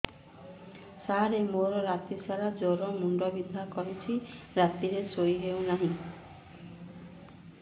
ସାର ମୋର ରାତି ସାରା ଜ୍ଵର ମୁଣ୍ଡ ବିନ୍ଧା କରୁଛି ରାତିରେ ଶୋଇ ହେଉ ନାହିଁ